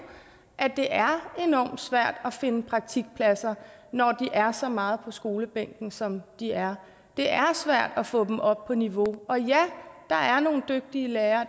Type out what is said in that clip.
at det er enormt svært at finde praktikpladser når de er så meget på skolebænken som de er det er svært at få dem op på niveau og ja der er nogle dygtige lærere